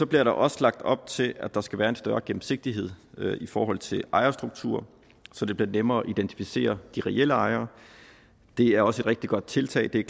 bliver der også lagt op til at der skal være en større gennemsigtighed i forhold til ejerstrukturen så det bliver nemmere at identificere de reelle ejere det er også et rigtig godt tiltag det er